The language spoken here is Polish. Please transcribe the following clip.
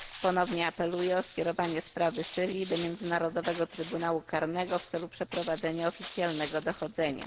Ponownie apeluję o skierowanie sprawy Syrii do Międzynarodowego Trybunału Karnego w celu przeprowadzenia oficjalnego dochodzenia.